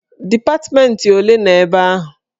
Dipatmentị ole nọ ebe ahụ?